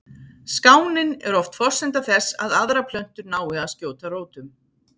Skánin er oft forsenda þess að aðrar plöntur nái að skjóta rótum.